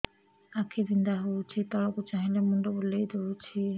ଆଖି ବିନ୍ଧା ହଉଚି ତଳକୁ ଚାହିଁଲେ ମୁଣ୍ଡ ବୁଲେଇ ଦଉଛି